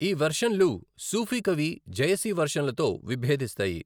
ఈ వెర్షన్లు సూఫీ కవి జయసి వెర్షన్లతో విభేదిస్తాయి.